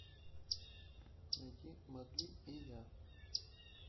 найди марли и я